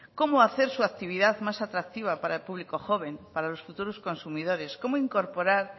cómo hacer su actividad más atractiva para el público joven para los futuros consumidores cómo incorporar